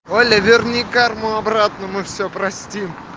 оля верни карму обратно мы все простим